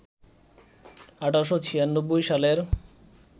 ১৮৯৬ সালের